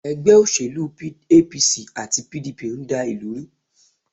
Ègbé òṣèlú APC àti PDP n dá ìlú ru